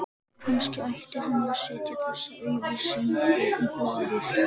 Kannski ætti hann að setja þessa auglýsingu í blaðið